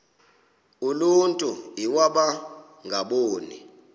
uluntu iwaba ngaboni